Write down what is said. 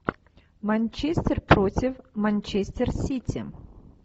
манчестер против манчестер сити